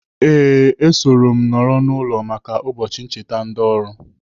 Ee, esoro m nọrọ n'ụlọ maka ụbọchị ncheta ndị oru.